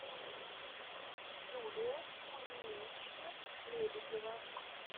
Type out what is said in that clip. юлия кузьминична лебедева